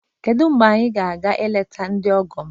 Kedu mgbe anyị ga-aga eleta ndị ọgọ m?